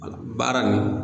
Baara in